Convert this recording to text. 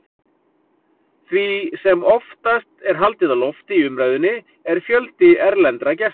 Því sem oftast er haldið á lofti í umræðunni er fjöldi erlendra gesta.